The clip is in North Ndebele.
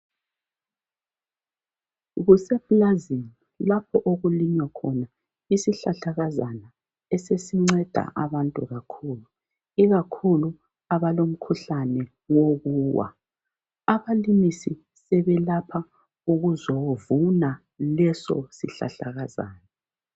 Kusepulazini lapho okulinywa khona isihlahlakazana esesinceda abantu kakhulu ikakhulu abalomkhuhlane wokuwa. Abalimisi sebelapha ukuzovuna leso sihlahlakazana.